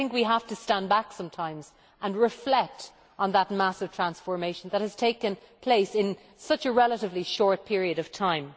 I think we have to stand back sometimes and reflect on that massive transformation that has taken place in such a relatively short period of time.